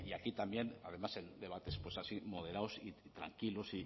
aquí también además en debates pues así moderados y tranquilos